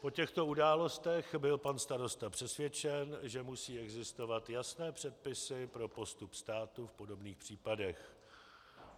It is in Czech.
O těchto událostech byl pan starosta přesvědčen, že musí existovat jasné předpisy pro postup státu v podobných případech.